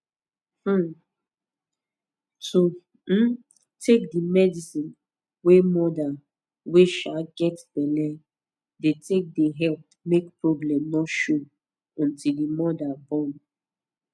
um to um take di medicine wey moda wey um get belle dey take dey epp make problem no show until di moda born